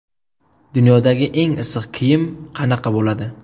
Dunyodagi eng issiq kiyim qanaqa bo‘ladi?.